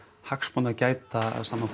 hagsmuna að gæta samanborið